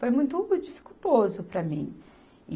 Foi muito dificultoso para mim.